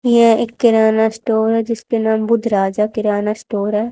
यह एक किराना स्टोर है जिसका नाम बुद्ध राजा किराना स्टोर है।